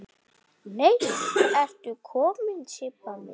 Nei ertu komin Sibba mín!